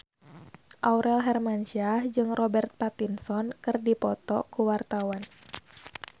Aurel Hermansyah jeung Robert Pattinson keur dipoto ku wartawan